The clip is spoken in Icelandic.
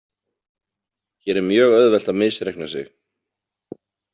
Hér er mjög auðvelt að misreikna sig.